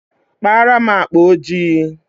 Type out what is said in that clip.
Kpaara m akpa ojii.